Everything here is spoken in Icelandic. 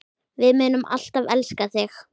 Við munum alltaf elska þig.